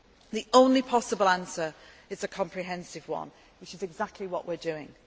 crime. The only possible answer is a comprehensive one, which is exactly what we are